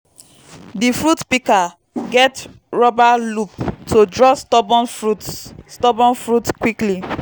di fruit pika get ruba loop to draw stubborn fruits stubborn fruits quickly